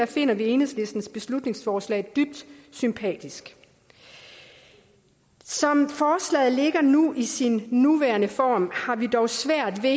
finder vi enhedslistens beslutningsforslag dybt sympatisk som forslaget ligger nu i sin nuværende form har vi dog svært ved